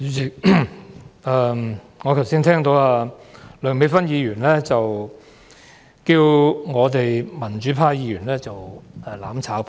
主席，我剛才聽到梁美芬議員稱呼民主派議員為"攬炒派"。